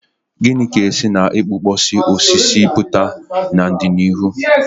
Gịnị ga-esi na igbukpọsị osisi pụta n'ọdịnihu?